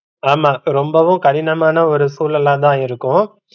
ஆமா ரொம்பவும் கடினமான ஒரு சூழலாதா இருக்கும்.